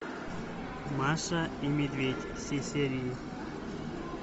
маша и медведь все серии